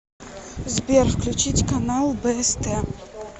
сбер включить канал бст